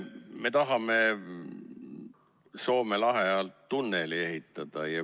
Me tahame Soome lahe alla tunneli ehitada.